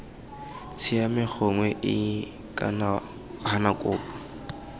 siame gongwe iii gana kopo